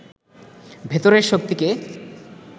ভেতরের শক্তিকে